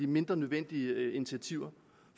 mindre nødvendige initiativer